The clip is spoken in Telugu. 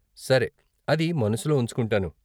సరే, అది మనసులో ఉంచుకుంటాను.